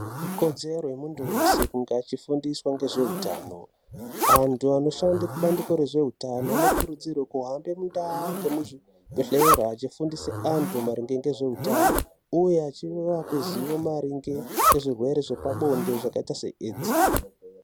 Ikodzero yemunthu weshe kunge achifundiswa ngezveutano anthu anoshande kubandiko rezveutano anokurudzirwe kuhamba mundaa ngemuzvibhedhlera achifundise anthu maringe ngezveutano uye achivape zivo maringe ngezvirwere zvepabonde zvakaita se AIDS.